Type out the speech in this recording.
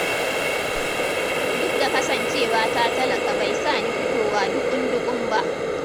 Duk da kasancewa ta talaka bai sa ni fitowa duƙun-duƙun ba